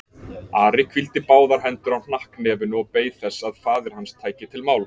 Ari hvíldi báðar hendur á hnakknefinu og beið þess að faðir hans tæki til máls.